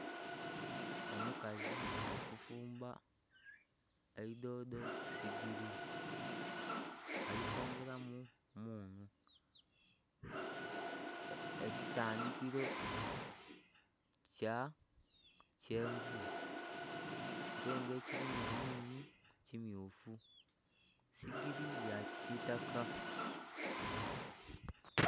Omukazi ali kufumba eidhodho ku sigili ali kwongeramu mmunhu, ekisandhikilo kya kyenvu ate nga ekilimu omunhu ki myufu, sigili ya kisitaka.